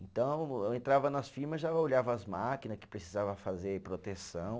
Então, eu entrava nas firma, já olhava as máquina que precisava fazer proteção.